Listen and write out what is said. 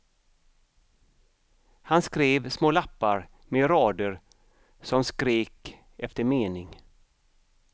Han skrev små lappar med rader som skrek efter mening.